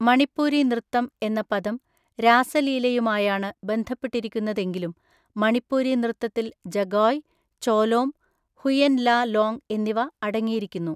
മണിപ്പൂരി നൃത്തം എന്ന പദം രാസലീലയുമായാണ് ബന്ധപ്പെട്ടിരിക്കുന്നതെങ്കിലും മണിപ്പൂരി നൃത്തത്തിൽ ജഗോയ്, ചോലോം, ഹുയെൻ ല ലോങ് എന്നിവ അടങ്ങിയിരിക്കുന്നു.